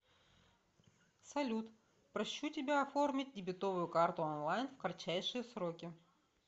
салют прощу тебя оформить дебетовую карту онлайн в кратчайшие сроки